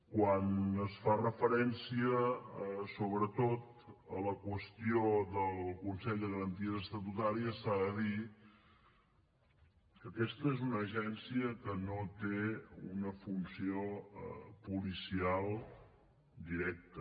quan es fa referència sobretot a la qüestió del consell de garanties estatutàries s’ha de dir que aquesta és una agència que no té una funció policial directa